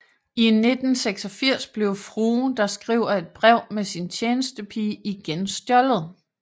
I 1986 blev Frue der skriver et brev med sin tjenestepige igen stjålet